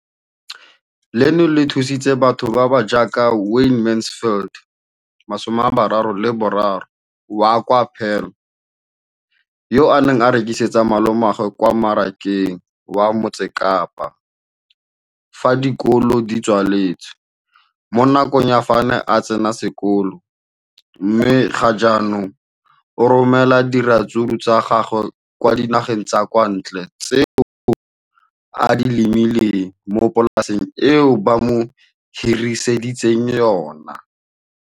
Leno le thusitse batho ba ba jaaka Wayne Mansfield, 33, wa kwa Paarl, yo a neng a rekisetsa malomagwe kwa Marakeng wa Motsekapa fa dikolo di tswaletse, mo nakong ya fa a ne a santse a tsena sekolo, mme ga jaanong o romela diratsuru tsa gagwe kwa dinageng tsa kwa ntle tseo a di lemileng mo polaseng eo ba mo hiriseditseng yona.